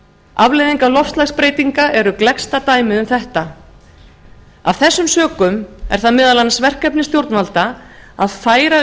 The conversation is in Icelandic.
afleiðingar loftslagsbreytinga eru gleggsta dæmið um þetta af þessum sökum er það meðal annars verkefni stjórnvalda að færa